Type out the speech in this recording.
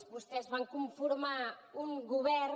vostès van conformar un govern